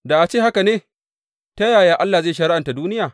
Da a ce haka ne, ta yaya Allah zai shari’anta duniya?